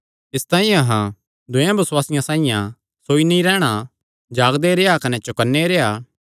इसतांई अहां दूयेयां बेबसुआसियां साइआं सोई नीं रैह़न जागदे कने चौकन्ने रेह्आ